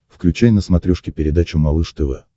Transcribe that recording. включай на смотрешке передачу малыш тв